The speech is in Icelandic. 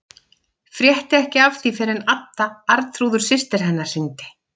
Frétti ekki af því fyrr en Adda, Arnþrúður systir hennar, hringdi.